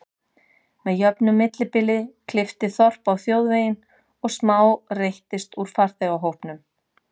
Með jöfnu bili klippti þorp á þjóðveginn og smá reyttist úr farþegahópnum.